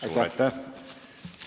Aitäh!